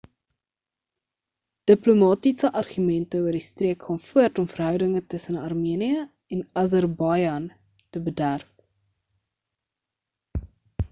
diplomatiese argumente oor die streek gaan voort om verhoudinge tussen armenië en azerbaijan te bederf